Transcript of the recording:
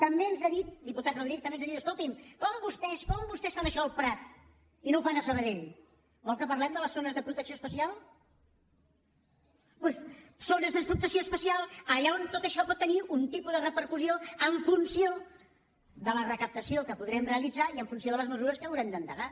també ens ha dit diputat rodríguez també ens ha dit escolti’m com vostès fan això al prat i no ho fan a sabadell vol que parlem de les zones de protecció especial doncs zones de protecció especial allà on tot això pot tenir un tipus de repercussió en funció de la recaptació que podrem realitzar i en funció de les mesures que haurem d’endegar